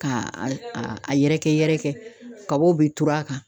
Ka a a yɛrɛkɛ yɛrɛkɛ kabaw be turu a kan